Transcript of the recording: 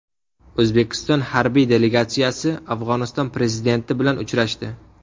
O‘zbekiston harbiy delegatsiyasi Afg‘oniston prezidenti bilan uchrashdi.